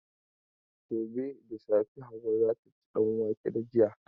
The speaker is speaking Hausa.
Gobe da safe Hauwa za ta ci danwake da yaji.